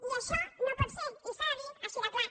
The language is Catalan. i això no pot ser i s’ha de dir així de clar